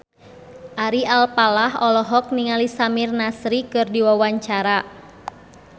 Ari Alfalah olohok ningali Samir Nasri keur diwawancara